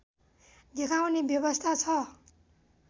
देखाउने व्यवस्था छ